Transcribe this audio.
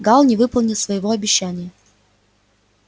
галл не выполнил своего обещания